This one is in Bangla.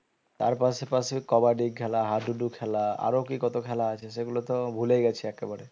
তার পাশে পাশে কাবাডি খেলা হাডুডু খেলা আরো কি কত খেলা আছে সেগুলো তো ভুলে গেছে একেবারে